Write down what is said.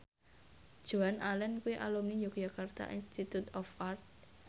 Joan Allen kuwi alumni Yogyakarta Institute of Art